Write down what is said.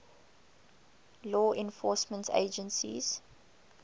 law enforcement agencies